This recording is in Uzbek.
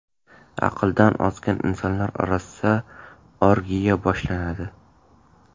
Aqldan ozgan insonlar orasida orgiya boshlanadi.